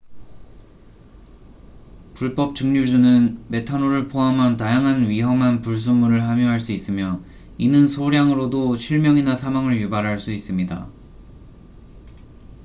불법 증류주는 메탄올을 포함한 다양한 위험한 불순물을 함유할 수 있으며 이는 소량으로도 실명이나 사망을 유발할 수 있습니다